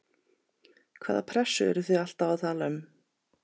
Hvaða pressu eruð þið alltaf að tala um?